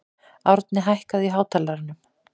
Árni, hækkaðu í hátalaranum.